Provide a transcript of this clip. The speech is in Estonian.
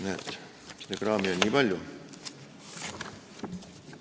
Näed, seda kraami on nii palju.